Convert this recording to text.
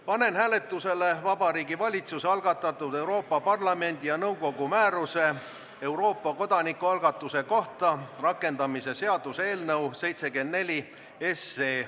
Panen hääletusele Vabariigi Valitsuse algatatud Euroopa Parlamendi ja nõukogu määruse "Euroopa kodanikualgatuse kohta" rakendamise seaduse eelnõu.